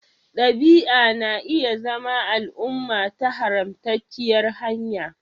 Ɗabi'a na iya zama al'umma ta haramtacciyar hanya